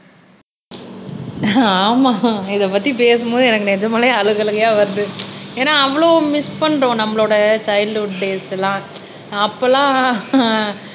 ஆமா இத பத்தி பேசும் போது எனக்கு நிஜமாலே அழுக அழுகையா வருது ஏன்னா அவ்வளவு மிஸ் பண்ணுறோம் நம்மளோட ச்சைல்ட்ஹூட் டேஸ் எல்லாம் அப்போ எல்லாம்